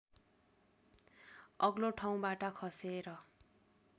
अग्लो ठाउँबाट खसेर